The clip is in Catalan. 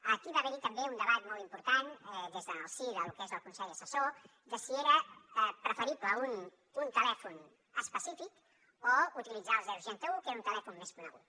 aquí va haver hi també un debat molt important des del si de lo que és el consell assessor de si era preferible un telèfon específic o utilitzar el seixanta un que era un telèfon més conegut